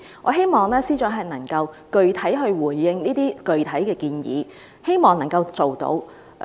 我希望司長能夠具體回應這些具體的建議，希望能夠落實。